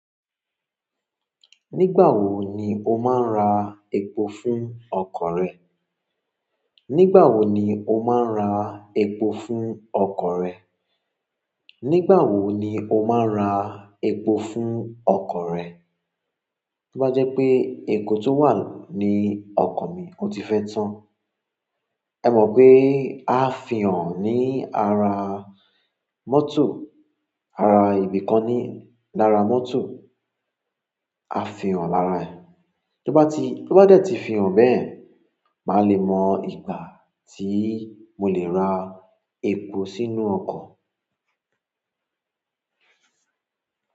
Nígbà wo ni o má ń ra epo fún ọkọ̀ rẹ̀. Nígbà wo ni o máa ń ra epo fún ọkọ̀ rẹ? Nígbà wo ni o máa ń ra epo fún ọkọ̀ rẹ? Tó bá jẹ́ pé epo tó wà ní ọkọ̀ o ti fẹ́ tán. Ẹ mọ̀ pé a fihàn ní ara mọ́tò, ara ibi kan ní lára mọ́tò. A fihàn lára ẹ̀. Tí ó bá ti, tí ó bá dẹ̀ ti fihàn bẹ́ẹ̀, màá lè mọ ìgbà tí mo lè ra epo sínú ọkọ̀.